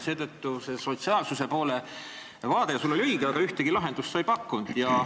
Vaade sotsiaalsuse poole oli sul õige, aga ühtegi lahendust sa ei pakkunud.